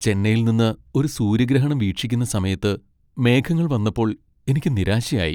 ചെന്നൈയിൽ നിന്ന് ഒരു സൂര്യഗ്രഹണം വീക്ഷിക്കുന്ന സമയത്ത് മേഘങ്ങൾ വന്നപ്പോൾ എനിക്ക് നിരാശയായി.